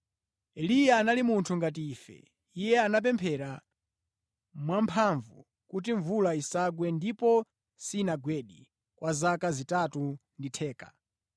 Eliya anali munthu ngati ife. Iye anapemphera mwamphamvu kuti mvula isagwe ndipo sinagwedi kwa zaka zitatu ndi theka.